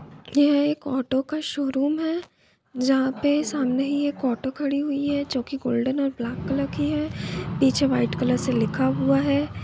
यह एक ऑटो का शोरूम है जहां पर सामने ही एक ऑटो खड़ी है जो की गोल्डन और ब्लैक कलर पीछे वाइट कलर से लिखा हुआ है।